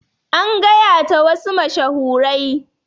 An gayata wasu mashahurai.